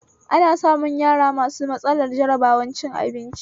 Ana samun yara masu matsalar jarabar cin abinci